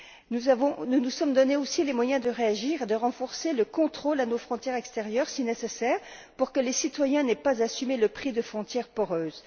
Nous nous sommes donné aussi les moyens de réagir et de renforcer le contrôle à nos frontières extérieures, si nécessaire, pour que les citoyens n'aient pas à assumer le prix de frontières poreuses.